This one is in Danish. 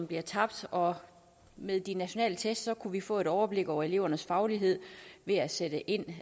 bliver tabt og med de nationale test kunne vi få et overblik over elevernes faglighed ved at sætte ind